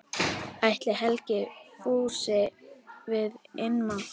Ætli Helgi fúlsi við innmat?